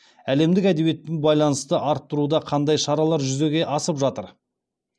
әлемдік әдебиеттің байланысты арттыруда қандай шаралар жүзеге асып жатыр